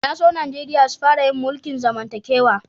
Na so Nijeriya sun fara yin mulki'n zamantakewa.